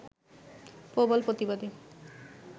প্রবল প্রতিবাদে